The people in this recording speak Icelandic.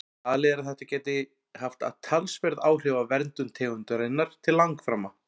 Talið er að þetta gæti haft talsverð áhrif á verndun tegundarinnar til langframa.